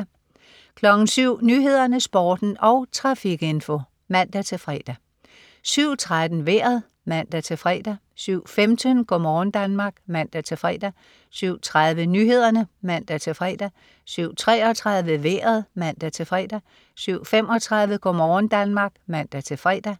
07.00 Nyhederne, Sporten og trafikinfo (man-fre) 07.13 Vejret (man-fre) 07.15 Go' morgen Danmark (man-fre) 07.30 Nyhederne (man-fre) 07.33 Vejret (man-fre) 07.35 Go' morgen Danmark (man-fre)